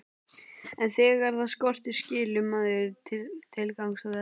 En þegar það skortir skilur maður tilgang þess.